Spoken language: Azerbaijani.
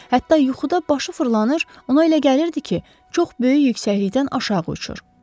Hətta yuxuda başı fırlanır, ona elə gəlirdi ki, çox böyük yüksəklikdən aşağı uçur.